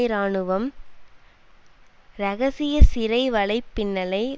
இராணுவம் இரகசிய சிறை வலை பின்னலை